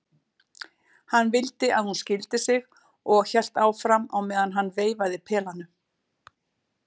Hann vildi að hún skildi sig og hélt áfram á meðan hann veifaði pelanum